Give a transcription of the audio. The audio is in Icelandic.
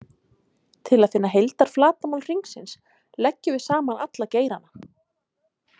Til að finna heildarflatarmál hringsins leggjum við saman alla geirana.